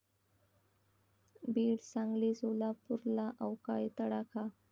बीड, सांगली, सोलापूरला अवकाळी तडाखा